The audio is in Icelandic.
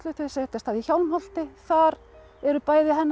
þau setjast að í Hjálmholti þar eru bæði hennar